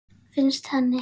Finnst henni.